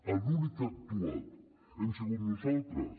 els únics que han actuat hem sigut nosaltres